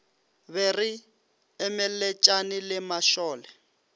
be re emeletšane le mašole